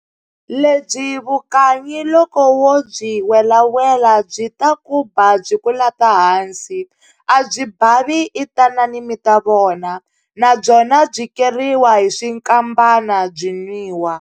Lebyi vukanyi loko wo byi welawela byi ta ku ba byi ku lata hansi. A byi bavi i tanani mi ta vona. Na byona byi keriwa hi swinkambana, byi nwiwa.